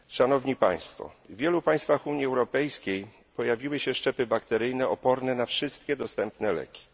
W wielu państwach Unii Europejskiej pojawiły się szczepy bakteryjne oporne na wszystkie dostępne leki.